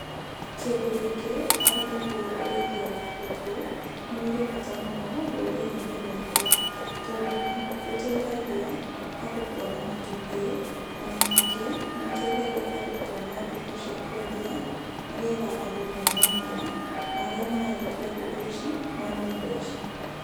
Kĩndũ gĩkĩ arĩ nĩguo ũrĩithia wa ngũkũ, nĩ ũrĩ bata mũno rũrĩrĩ-inĩ rwakwa, tondũ nĩ rũteithagia andũ kuona matumbĩ. O na nyingĩ nĩ rũteithagia andũ kuona ngũkũ cia kwendia nigetha andũ mone nyama na arĩa mararĩithia ngũkũ ici mone mbeca.